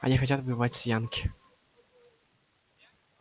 они хотят воевать с янки